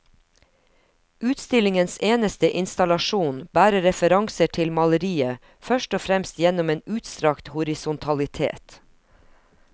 Utstillingens eneste installasjon bærer referanser til maleriet først og fremst gjennom en utstrakt horisontalitet.